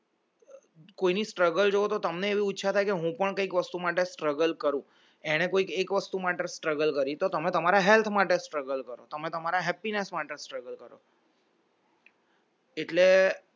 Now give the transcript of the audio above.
કોઈની struggle જોવો તો તમને એવું ઈચ્છા થાય કે હું પણ કંઈક વસ્તુ માટે struggle કરી તો તમે તમારા health માટે સ્ટ્રગલ કરો તમારા happiness માટે struggle કરો એટલે